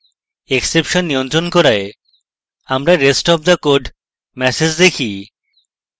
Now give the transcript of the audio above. exception নিয়ন্ত্রন করায় আমরা rest of the code message দেখি